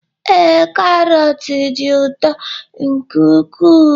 Ee, karọt dị ụtọ nke ukwuu